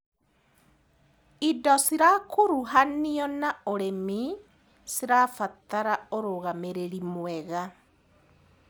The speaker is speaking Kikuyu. Indo cirakuruhanio na ũrĩmi cirabatara ũrũgamĩrĩri mwega.